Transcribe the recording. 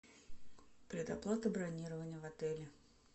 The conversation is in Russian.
предоплата бронирования в отеле